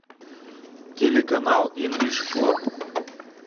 телеканал инглиш клаб